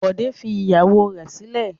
Bọ̀dé fi ìyàwó rẹ̀ sílẹ̀.